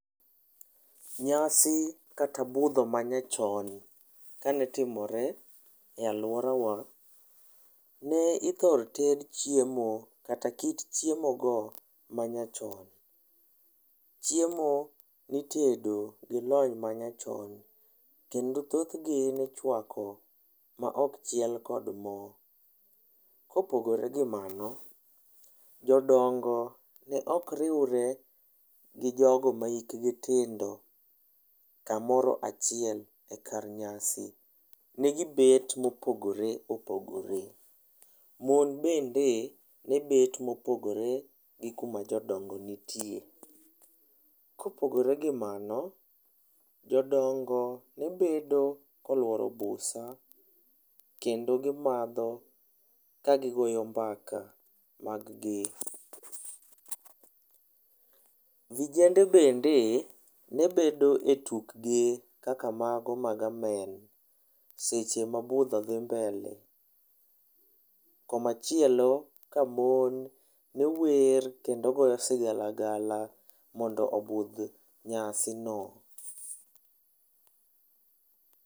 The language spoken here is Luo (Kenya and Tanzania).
Nyasi kata budho ma nyachon kane timore e aluora wa ne ithoro ted chiemo kata kit chiemo go ma nyachon, chiemo nitedo gi lony manyachon kendo thoth gi nichuako ma ok ted kod moo, kopogore gi mano jodongo ne ok riwre gi jogo ma hik gi tindo kamoro achiel e kar nyasi, ne gi bet mopogore opogore ,mon bende ne bet mopogore gi kuma jodongo nitie, kopogore gi mano, jodongo ne bet loluoro busa kendo gimadho kagi goyo mbaka mag gi, vijende bende ne bedo e tuk gi kaka mago mag amen seche ma budho dhi mbele koma chielo ka mon ne wer kendo goyo sigalagala mondo obudh nyasi no.